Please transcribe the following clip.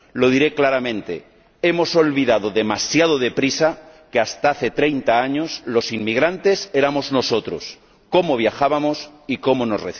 Lo diré claramente hemos olvidado demasiado deprisa que hasta hace 30 años los inmigrantes éramos nosotros, cómo viajábamos y cómo nos